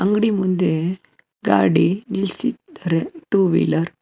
ಗುಡಿ ಮುಂದೆ ಗಾಡಿ ನಿಲ್ಸಿದ್ದರೆ ಟೂ ವೀಲರ್ --